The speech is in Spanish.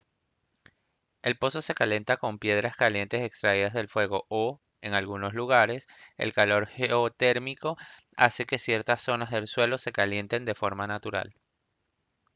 el pozo se calienta con piedras calientes extraídas del fuego o en algunos lugares el calor geotérmico hace que ciertas zonas del suelo se calienten de forma natural